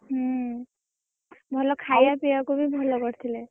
ହୁଁ ଭଲ ଖାଇଆ ପିଆକୁ ବି ଭଲ କରିଥିଲେ।